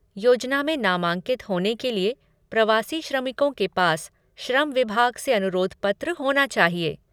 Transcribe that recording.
योजना में नामांकित होने के लिए प्रवासी श्रमिकों के पास श्रम विभाग से अनुरोध पत्र होना चाहिए।